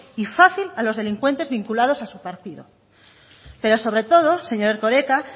y fácil a los delincuentes vinculados a su partido pero sobre todo señor erkoreka